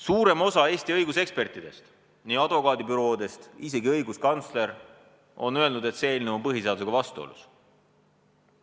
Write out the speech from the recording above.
Suurem osa Eesti õigusekspertidest, nii advokaadibürood kui ka õiguskantsler on öelnud, et see eelnõu on põhiseadusega vastuolus.